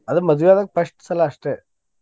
ಅದ ಮದ್ವಿ ಆದಾಗ first ಸಲಾ ಅಷ್ಟೇ.